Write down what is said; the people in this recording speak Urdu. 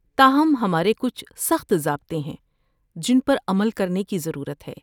تاہم، ہمارے کچھ سخت ضابطے ہیں جن پر عمل کرنے کی ضرورت ہے۔